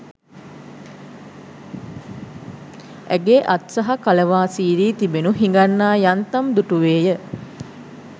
ඇගේ අත් සහ කලවා සීරී තිබෙනු හිඟන්නා යන්තම් දුටුවේ ය.